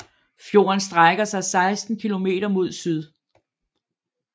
Fjorden strækker sig 16 km mod syd